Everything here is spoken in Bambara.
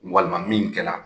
Walima min kɛla.